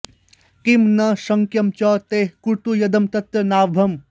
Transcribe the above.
किं न शक्यं च तैः कर्तुं यदहं तत्र नाभवम्